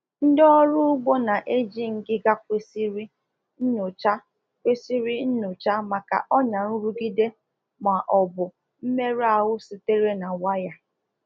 Ndị na-eji akpa ígwè azụ anụ ọkụkọ kwesịrị ịna-enyocha anụmanụ maka mmebi akpụkpọ anụ ma ọbụ mmerụ ahụ sitere na waya.